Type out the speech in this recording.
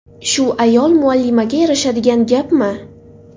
Shu ayol muallimaga yarashadigan gapmi?.